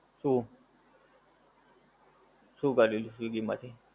શું શું કર્યું swiggy માંથી?